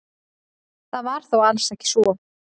Það var þó alls ekki svo.